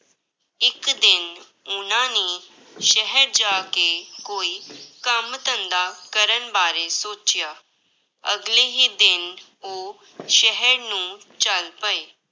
ਇੱਕ ਦਿਨ ਉਹਨਾਂ ਨੇ ਸ਼ਹਿਰ ਜਾ ਕੇ ਕੋਈ ਕੰਮ ਧੰਦਾ ਕਰਨ ਬਾਰੇ ਸੋਚਿਆ, ਅਗਲੇ ਹੀ ਦਿਨ ਉਹ ਸ਼ਹਿਰ ਨੂੰ ਚੱਲ ਪਏ।